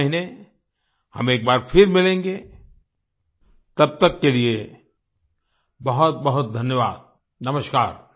अगले महीने हम एक बार फिर मिलेंगे तब तक के लिए बहुतबहुत धन्यवाद नमस्कार